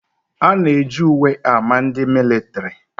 A na eji uwe ámá ndị militiri